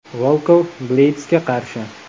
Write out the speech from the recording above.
Volkov Bleydsga qarshi.